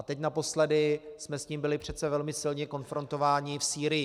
A teď naposledy jsme s tím byli přece velmi silně konfrontováni v Sýrii.